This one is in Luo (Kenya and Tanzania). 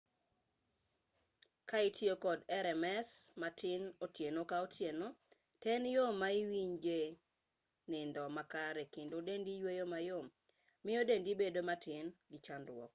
ka itiyo kod rems matin otieno ko tieno to e yo ma iwinje nindo makare kendo dendi yueyo mayom miyo dendi bedo matin gi chandruok